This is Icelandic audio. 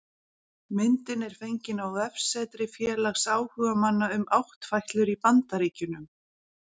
Myndin er fengin á vefsetri félags áhugamanna um áttfætlur í Bandaríkjunum